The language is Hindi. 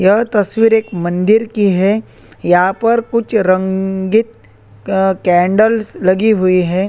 यह तस्वीर एक मंदिर की है यहाँ पर कुछ रंगे कैंडल्स लगी हुई है।